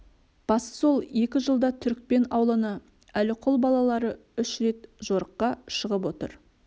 басы сол екі жылда түрікпен ауылына әліқұл балалары үш рет жорыққа шығып отыр